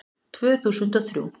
Tvö þúsund og þrjú